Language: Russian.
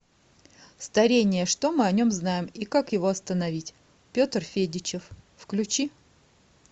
старение что мы о нем знаем и как его остановить петр федичев включи